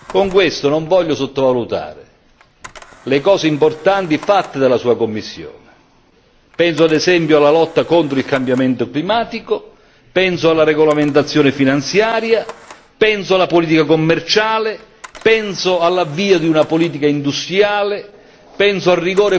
Con questo non voglio sottovalutare le cose importanti fatte dalla sua Commissione penso ad esempio alla lotta contro il cambiamento climatico, penso alla regolamentazione finanziaria, penso alla politica commerciale, penso all'avvio di una politica industriale, penso al